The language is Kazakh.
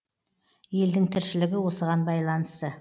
елдің тіршілігі осыған байланысты